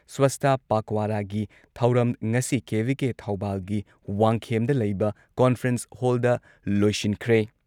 ꯁ꯭ꯋꯥꯁꯇ ꯄꯥꯈꯋꯥꯔꯥꯒꯤ ꯊꯧꯔꯝ ꯉꯁꯤ ꯀꯦ.ꯚꯤ.ꯀꯦ ꯊꯧꯕꯥꯜꯒꯤ ꯋꯥꯡꯈꯦꯝꯗ ꯂꯩꯕ ꯀꯣꯟꯐ꯭ꯔꯦꯟꯁ ꯍꯣꯜꯗ ꯂꯣꯏꯁꯤꯟꯈ꯭ꯔꯦ ꯫